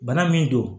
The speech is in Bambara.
Bana min don